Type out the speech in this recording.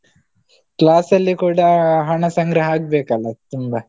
Class ಅಲ್ಲಿ ಕೂಡ ಹಣ ಸಂಗ್ರಹ ಆಗ್ಬೇಕಲ್ಲಾ ತುಂಬಾ.